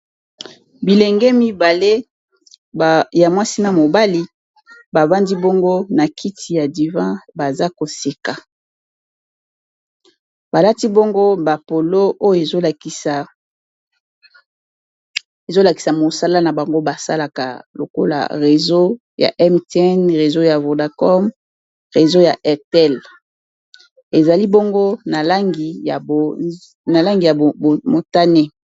bilenge mibale ya mwasi na mobali bafandi bongo na kiti ya divan baza koseka balati bongo bapolo oyo ezolakisa mosala na bango basalaka lokola réseaub ya vodacom ezali bongo na langi ya motane